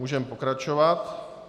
Můžeme pokračovat.